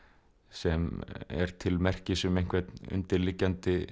sem er til merkis um einhvern undirliggjandi